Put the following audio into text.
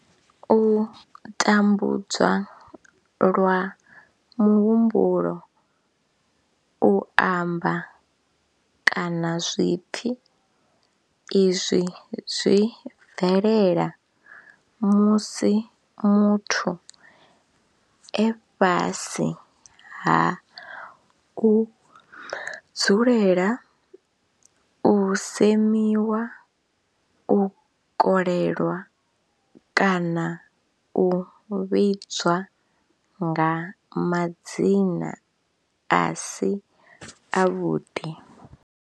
U tambudzwa lwa muhumbulo, u amba, kana zwipfi, Izwi zwi bvelela musi muthu e fhasi ha u dzulela u semiwa, u kolelwa kana u vhidzwa nga madzina a si avhuḓi.